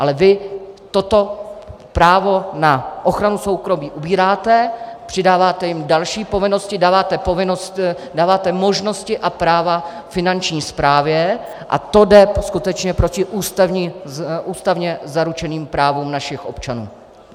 Ale vy toto právo na ochranu soukromí ubíráte, přidáváte jim další povinnosti, dáváte možnosti a práva Finanční správě a to jde skutečně proti ústavně zaručeným právům našich občanů.